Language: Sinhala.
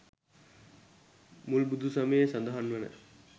මුල් බුදු සමයේ සඳහන් වන